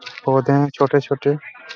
पौधे है छोटे-छोटे--